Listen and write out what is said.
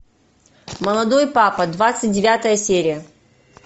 молодой папа двадцать девятая серия